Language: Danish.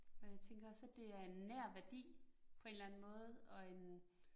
Men jeg tænker også, at det er en nær værdi på en eller anden måde og en